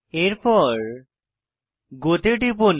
এরপর গো তে টিপুন